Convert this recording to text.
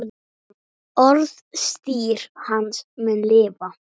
Orðstír hans mun lifa.